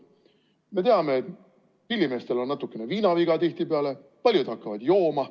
Me teame, et pillimeestel on tihtipeale natukene viinaviga, nii et paljud hakkavad jooma.